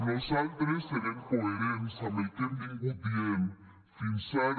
nosaltres serem coherents amb el que hem vingut dient fins ara